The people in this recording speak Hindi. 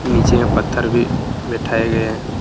नीचे में पत्थर भी बिठाये गए हैं |